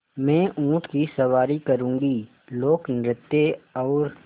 मैं ऊँट की सवारी करूँगी लोकनृत्य और